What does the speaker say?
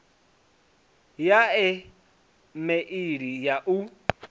ya e meili ya u